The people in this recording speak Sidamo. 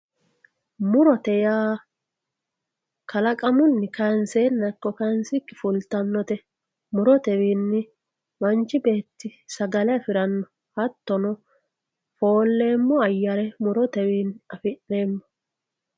murote yaa kalaqamunni kaanseenna ikko kaansikkinii fultannote murotewiinni manchi beetti sagale afi'neemmo hattono foolleemmo ayyare murotewiinni afi'neemmo.